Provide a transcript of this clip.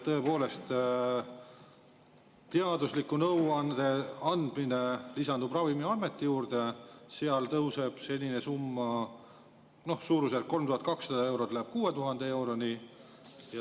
Tõepoolest, teadusliku nõuande andmine lisandub Ravimiameti, seal senine summa tõuseb, suurusjärgus 3200 eurost 6000 euroni.